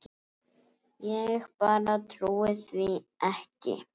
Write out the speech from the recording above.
Ég bara trúi því ekki.